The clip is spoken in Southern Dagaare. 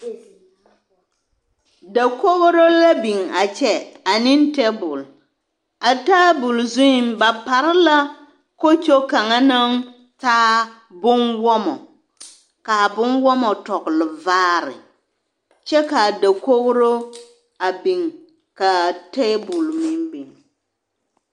Dakogiro la biŋ a kyɛ ane teebol, a teebol zuŋ ba pare la kokyo kaŋa naŋ taa bomwɔmɔ k'a bomwɔmɔ tɔgele vaare kyɛ k'a dakogiro a biŋ k'a teebol meŋ biŋ.